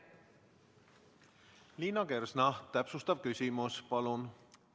Liina Kersna, täpsustav küsimus, palun!